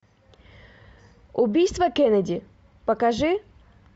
убийство кеннеди покажи